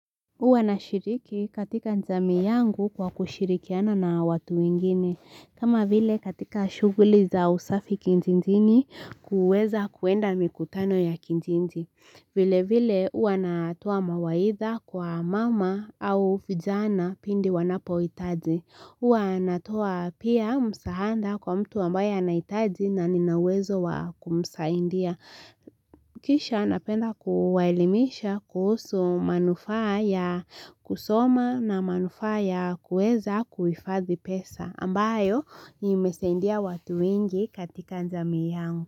Huwa nashiriki katika jamii yangu kwa kushirikiana na watu wengine, kama vile katika shughuli za usafi kijijini kuweza kuenda mikutano ya kijiji. Vile vile huwa natoa mawaidha kwa mama au vijana pindi wanapohitaji. Huwa natoa pia msaada kwa mtu ambaye anahitaji na nina uwezo wa kumsaidia. Kisha napenda kuwaelimisha kuhusu manufaa ya kusoma na manufaa ya kueza kuhifadhi pesa ambayo imesaidia watu wengi katika jamii yangu.